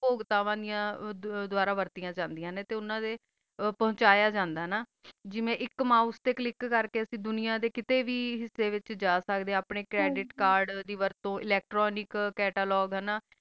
ਓਹੋ ਗੋਤਾ ਵਾਲਿਆ ਦੋਬਾਰਾ ਵਰਤਿਆ ਜਾ ਸਕ ਦਯਾ ਨਾ ਤਾ ਓਨਾ ਦਾ ਪੋੰਚਿਆ ਜਾਂਦਾ ਆ ਜੀਵਾ ਏਕ ਮੋਉਸੇ ਤਾ ਕਲਿਕ ਕਰ ਕਾ ਪੋਰੀ ਦੁਨਿਯਾ ਦਾ ਕਾਸਾ ਵੀ ਹਿਆਸਾ ਵਿਤਚ ਜਾ ਸਕਦਾ ਆ ਆਪਣਾ ਕ੍ਰੇਡਿਟ cradet cade ਦੀ ਵਰਤੋ lectnology catalog